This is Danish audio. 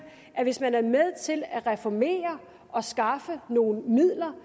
at hvis man er med til at reformere og skaffe nogle midler